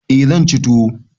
Eh zan ci tuwo.